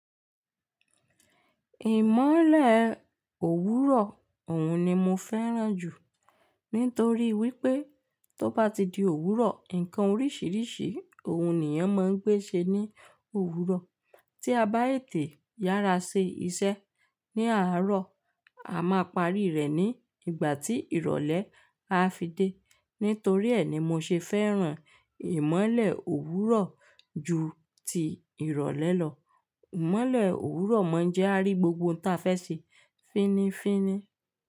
Ìmọ́lẹ̀ òwúrọ̀ òun ni mo fẹ́ràn jù nítorí wípé tó bá ti di òwúrọ̀, ǹkan oríṣiríṣi òun nìyàn máa ń gbé ṣe ní òwúrọ̀ tí a bá ètè yára ṣe iṣẹ́ ní àárọ̀, a máa parí rẹ̀ ní ìgbà tí ìrọ̀lẹ́ á fi dé. Nítorí ẹ́ ni mo ṣe fẹ́ràn ìmọ́lẹ̀ òwúrọ̀ ju ti ìrọ̀lẹ́ lọ. Ìmọ́lẹ̀ òwúrọ̀ máa ń jẹ́ á rí gbogbo ohun tí a fẹ́ ṣe fínnífínní.